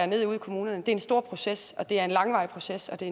ned ude i kommunerne er en stor proces og det er en langvarig proces det